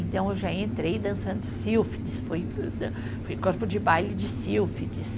Então, eu já entrei dançando sílfides, foi eh, fui corpo de baile de sílfides.